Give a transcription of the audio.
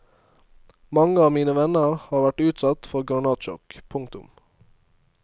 Mange av mine venner har vært utsatt for granatsjokk. punktum